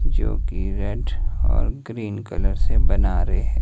जो की रेड और ग्रीन कलर से बना रहे हैं।